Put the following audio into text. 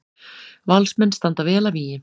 Valsmenn standa vel að vígi